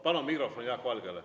Palun mikrofon Jaak Valgele!